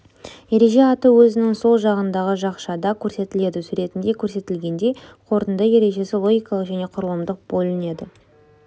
ереже аты өзінің сол жағындағы жақшада көрсетіледі суретінде көрсетілгендей қорытынды ережесі логикалық және құрылымдық болып бөлінеді